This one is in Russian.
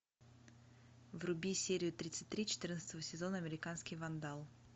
вруби серию тридцать три четырнадцатого сезона американский вандал